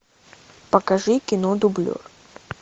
покажи кино дублер